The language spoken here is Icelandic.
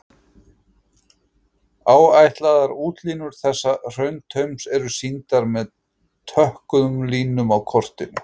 Áætlaðar útlínur þessa hrauntaums eru sýndar með tökkuðum línum á kortinu.